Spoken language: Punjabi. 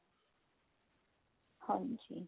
ਹਾਂਜੀ